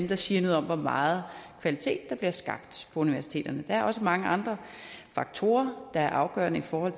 der siger noget om hvor meget kvalitet der bliver skabt på universiteterne der er også mange andre faktorer der er afgørende for